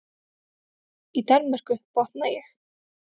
Í Danmörku, botna ég.